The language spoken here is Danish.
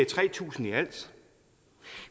tre tusind i alt